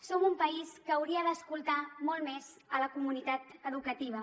som un país que hauria d’escoltar molt més la comunitat educativa